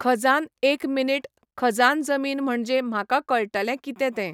खजान एक मिनीट खजान जमीन म्हणजे म्हाका कळटलें कितें तें